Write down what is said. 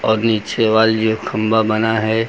और नीचे ये खंबा बना है।